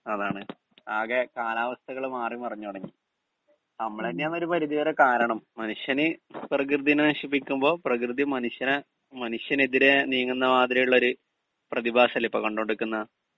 speaker 2 അതാണ് ആകെ കാലാവസ്ഥകള് മാറി മറിഞ്ഞ് തുടങ്ങി അമ്മള് തന്നെയാണ് ഒരു പരിധി വരെ കാരണം മനുഷ്യന് പ്രകൃതീനെ നശിപ്പിക്കുമ്പോ പ്രകൃതി മനുഷ്യനെ മനുഷ്യനെതിരെ നീങ്ങുന്ന മാതിരി ഉള്ള ഒരു പ്രതിഭാസല്ലെ ഇപ്പോ കണ്ടോണ്ട് നിക്കുന്നേ